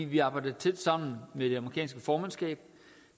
vi arbejder tæt sammen med det amerikanske formandskab